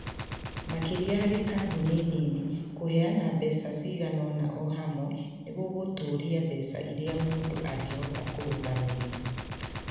Makĩria harĩ kambuni nini, kũheana mbeca cigana ũna o ĩmwe nĩ gũgũtũũria mbeca iria mũndũ angĩhota kũrũgamĩrĩra.